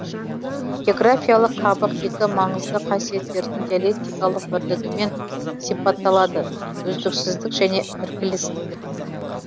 географиялық қабық екі маңызды қасиеттердің диалектикалық бірлігімен сипатталады үздіксіздік және іркілістік